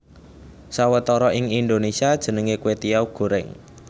Sawetara ing Indonesia jenenge kwetiau goreng